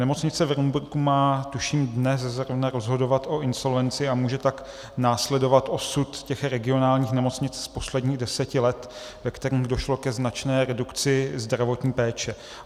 Nemocnice v Rumburku má, tuším dnes zrovna, rozhodovat o insolvenci a může tak následovat osud těch regionálních nemocnic z posledních deseti let, ve kterých došlo ke značné redukci zdravotní péče.